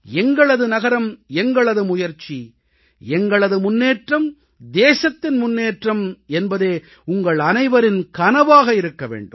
எங்களது நகரம் எங்களது முயற்சி எங்களது முன்னேற்றம் தேசத்தின் முன்னேற்றம் என்பதே உங்களனைவரின் கனவாக இருக்க வேண்டும்